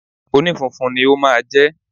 Onífunfun ni ó máa jẹ́